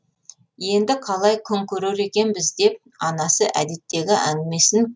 енді қалай күн көрер екенбіз деп анасы әдеттегі әңгімесін